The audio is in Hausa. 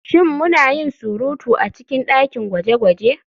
Shin muna yin surutu a cikin dakin gwaje-gwaje?